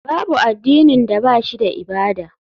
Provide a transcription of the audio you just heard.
Babu addinin da ba shi da ibada.